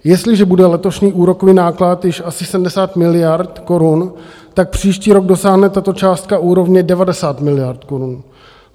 Jestliže bude letošní úrokový náklad již asi 70 miliard korun, tak příští rok dosáhne tato částka úrovně 90 miliard korun.